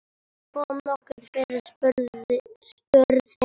Kom nokkuð fyrir? spurði Nína.